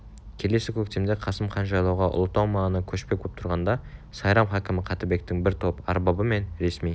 келесі көктемде қасым хан жайлауға ұлытау маңына көшпек боп тұрғанда сайрам хакімі қаттыбектің бір топ арбабы мен ресми